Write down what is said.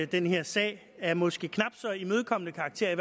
den her sag af måske knap så imødekommende karakterer i